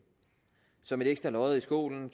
som et ekstra lod i skålen